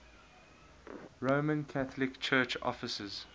roman catholic church offices